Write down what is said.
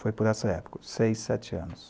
Foi por essa época, seis, sete anos.